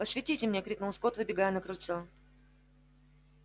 посветите мне крикнул скотт выбегая на крыльцо